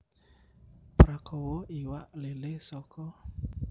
Prakawa iwak lélé saka